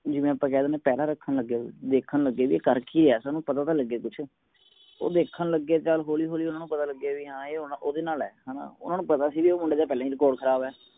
ਜਿਵੇ ਆਪ ਕਹਿ ਦੇਣੇ ਆ ਪੈਰਾਂ ਰੱਖਣ ਲੱਗ ਗਏ ਸੀ ਵੇਖਣ ਲਗੇ ਭੀ ਕਰ ਕਿ ਰਿਹਾ ਸਾਨੂ ਪਤਾ ਤਾ ਲਗੇ ਕੁਛ ਉਹ ਦੇਖਣ ਲਗੇ ਚਾਲ ਹੋਲੀ ਹੋਲੀ ਊਨਾ ਨੂੰ ਪਤਾ ਲਗੇ ਬੀ ਹਾਂ ਇਹ ਹੁਣ ਉਦੇ ਨਾਲ ਹੈ ਹੇਨਾ ਊਨਾ ਨੂੰ ਪਤਾ ਸੀ ਉਹ ਮੁੰਡੇ ਦਾ ਪਹਿਲਾ ਹੀ record ਖ਼ਰਾਬ ਹੈ